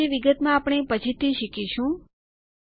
આ વિશે વિગતમાં આપણે પછીથી શીખીશું